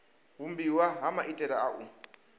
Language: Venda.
vhumbiwa ha maitele a u